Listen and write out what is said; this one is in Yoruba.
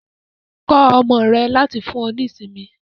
Kọ ọmọ rẹ láti fún ọ ní ìsinmi.